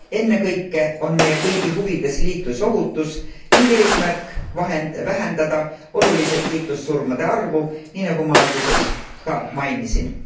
Ennekõike on meie kõigi huvides liiklusohutus ning eesmärk vähendada oluliselt liiklussurmade arvu, nii nagu ma alguses ka mainisin.